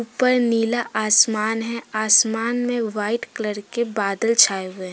ऊपर नीला आसमान है। आसमान में व्हाइट कलर के बादल छाए हुए हैं।